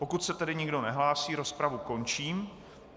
Pokud se tedy nikdo nehlásí, rozpravu končím.